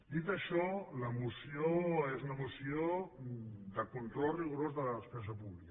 dit això la moció és una moció de control rigorós de la despesa pública